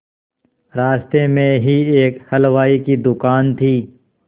रास्ते में ही एक हलवाई की दुकान थी